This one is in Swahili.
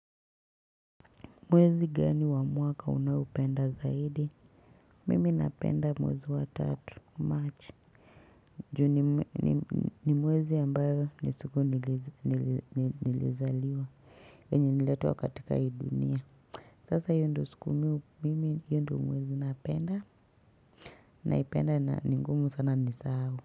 Mwezi gani wa mwaka unaopenda zaidi mimi napenda mwezi wa tatu machi Ju ni mwezi ambayo ni siku nilizaliwa enye niletwa katika ii dunia Sasa hiyo ndo siku mimi yu ndo mwezi napenda na ipenda ni ngumu sana ni saao.